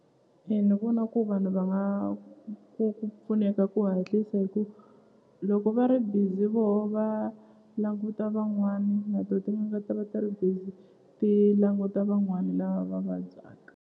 E ni vona ku vanhu va nga ku pfuneka ku hatlisa hi ku loko va ri busy voho va languta van'wani na to tin'anga ta va ti ri busy ti languta van'wani lava va vabyaka.